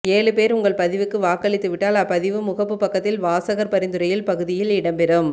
ஏழு பேர் உங்கள் பதிவுக்கு வாக்களித்துவிட்டால்அப்பதிவு முகப்புப் பக்கத்தில்வாசகர் பரிந்துரையில் பகுதியில் இடம்பெறும்